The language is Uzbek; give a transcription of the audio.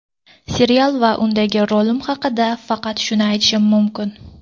Serial va undagi rolim haqida faqat shuni aytishim mumkin.